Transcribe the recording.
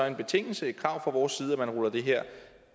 en betingelse et krav fra vores side at man ruller det her